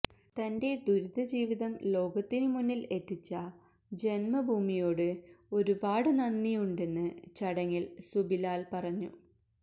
തന്റെ ദുരിതജീവിതം ലോകത്തിനുമുന്നില് എത്തിച്ച ജന്മഭൂമിയോടു ഒരുപാട് നന്ദിയുണ്ടെന്ന് ചടങ്ങില് സുബിലാല് പറഞ്ഞു